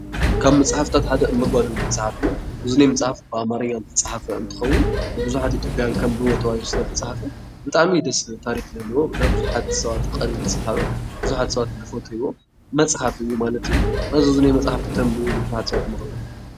ካብ መፅሓፍታት ሓደ እመጓ ዝብል መፅሓፍ እዩ። እዚ መፅሓፍ ብኣማርኛ ዝፅሓፍ እንትከውን ብዙሓት ኢትዮጵያውያን ከንብብዎ ተባሂሉ ስለተፃሕፈ ብጣዕሚ ደስ ዝብል ታሪክ ዘለዎ ናይ ብዙሓት ሰባት ቀልቢ ዝሰሓበ ብዙሓት ሰባት ዝፈትዉዎ መፅሓፍ እዩ ማለት እዩ ።እና ነዚ ኣብዚ ዝኒሀ መፅሓፍ ክተንብቡ ይማፀነኩም።